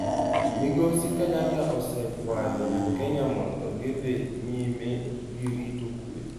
Migosi Kenyatta osekwayo jo Kenya mondo gidhi nyime gi rito kwe.